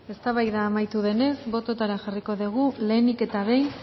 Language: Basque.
eztabaida amaitu denez botoetara jarriko dugu lehenik eta behin